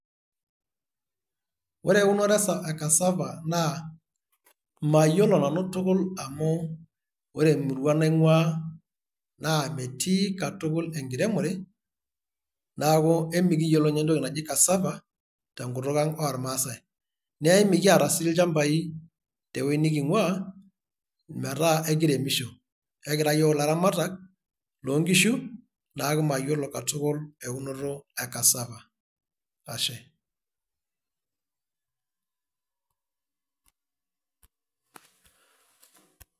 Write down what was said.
Ore eunore e Cassava naa mayiolo nanu tukul amu ore emurua naing'ua naa metii katul enkiremore, neeku emikiyiolo ninye entoki naji Cassava tenkutuk ang' olmaasai, naa emikiata sii ilchambai tewueji niking'ua metaa ekiremisho, ekira yiok ilaramatak loonkishu, neeku mayiolo katukul eunoto e Cassava. Ashe.